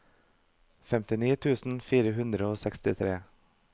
femtini tusen fire hundre og sekstitre